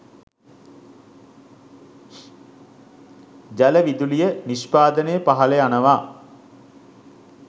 ජල විදුලිය නිෂ්පාදනය පහළ යනවා.